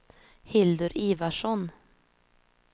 Hildur Ivarsson